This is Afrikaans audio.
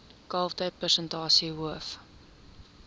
kalftyd persentasie hoof